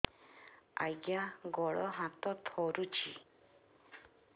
ଆଜ୍ଞା ଗୋଡ଼ ହାତ ଥରୁଛି